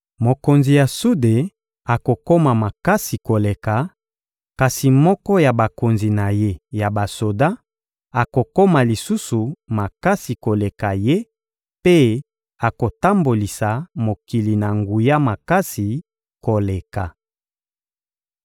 Mokonzi ya sude akokoma makasi koleka, kasi moko ya bakonzi na ye ya basoda akokoma lisusu makasi koleka ye mpe akotambolisa mokili na nguya makasi koleka.